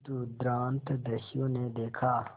दुर्दांत दस्यु ने देखा